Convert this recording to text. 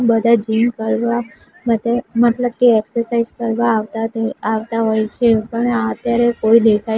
બધા જીમ કરવા માટે મતલબ કે એક્સરસાઈઝ કરવા આવતા ત આવતા હોય છે પણ આત્યારે કોઈ દેખાય--